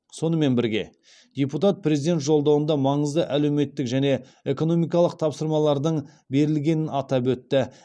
сонымен бірге депутат президент жолдауында маңызды әлеуметтік және экономикалық тапсырмалардың берілгенін атап өтті